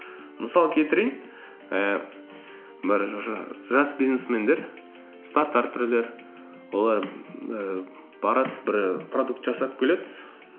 мысал келтірейін і бір жас бизнесмендер стартаперлер олар ііі барады бір продукт жасап келеді